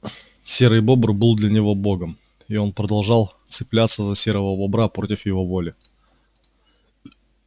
серый бобр был для него богом и он продолжал цепляться за серого бобра против его воли